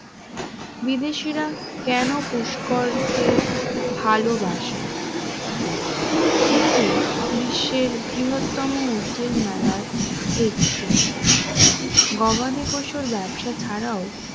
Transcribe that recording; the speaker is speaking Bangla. বিদেশীরা কেন পুষ্কর কে ভালবাসে? এটি বিশ্বের বৃহত্তম উটেরমেলার একটি গবাদি পশুর ব্যবসা ছাড়াও